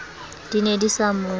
di ne di sa mo